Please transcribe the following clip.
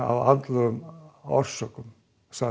af andlegum orsökum